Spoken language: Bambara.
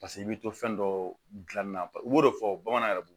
Paseke i bɛ to fɛn dɔ dilanni na u b'o de fɔ bamananw yɛrɛ bolo